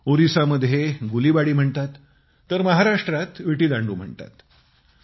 ओरिसामध्ये गुलिबाडी म्हणतात तर महाराष्ट्रात विटीदांडू म्हणतात